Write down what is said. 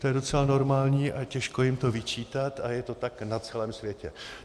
To je docela normální a těžko jim to vyčítat, a je to tak na celém světě.